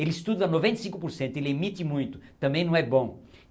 Ele estuda noventa e cinco por cento, ele emite muito, também não é bom.